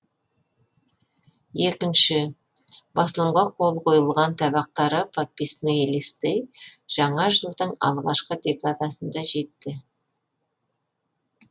екінші басылымға қол қойылған табақтары подписные листы жаңа жылдың алғашқы декадасында жетті